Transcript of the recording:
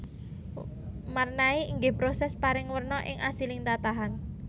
Marnai inggih proses paring werna ing asiling tatahan